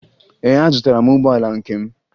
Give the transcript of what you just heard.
Ee, azụtara m ụgbọala nke m